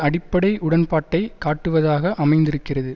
அடிப்படை உடன்பாட்டை காட்டுவதாக அமைந்திருக்கிறது